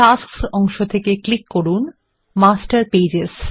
tasks অংশ থেকে click করুন মাস্টার পেজেস